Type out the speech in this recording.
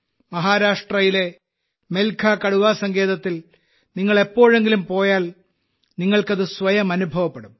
മഹാരാഷ്ട്രയിലെ മെൽഘാ കടുവാ സങ്കേതത്തിൽ നിങ്ങൾ എപ്പോഴെങ്കിലും പോയാൽ നിങ്ങൾക്കത് സ്വയം അനുഭവപ്പെടും